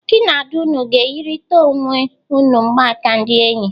Gi na Ada unu ga-enyerịta onwe unu mgbaka ndị enyi?